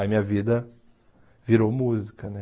Aí minha vida virou música, né?